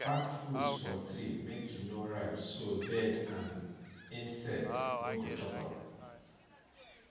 pack fruits for tree make e no ripe so bird and insect no go chop am